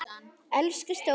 Elsku stóri bróðir.